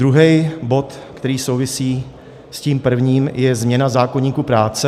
Druhý bod, který souvisí s tím prvním, je změna zákoníku práce.